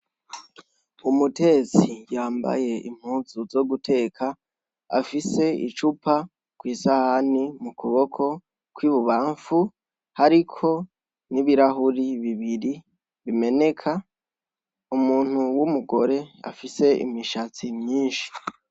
Umutetsi yambaye impuzu zo guteka afise icupa kwisahani mu kuboko kw'ibubamfu hariko n'ibirahuri bibiri bimeneka umuntu w'umugore afise imishatsi myinshi.